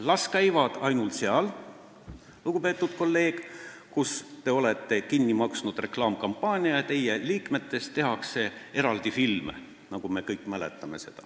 Las käiakse ainult seal, lugupeetud kolleeg, kus te olete kinni maksnud reklaamikampaania ja teie liikmetest tehakse eraldi filme, nagu me kõik mäletame.